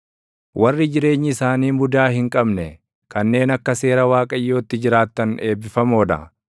Warri jireenyi isaanii mudaa hin qabne, kanneen akka seera Waaqayyootti jiraattan eebbifamoo dha.